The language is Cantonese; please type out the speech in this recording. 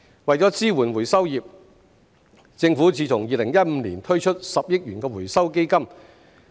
為支援回收業，政府自2015年起推出10億元回收基金。